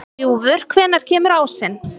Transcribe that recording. Ljúfur, hvenær kemur ásinn?